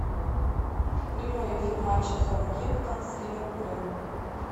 прямой эфир матча саутгемптон с ливерпулем